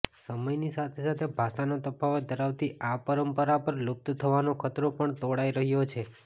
સમયની સાથેસાથે ભાષાનો તફાવત ધરાવતી આ પરંપરા પર લુપ્ત થવાનો ખતરો પણ તોળાઈ રહ્યો છે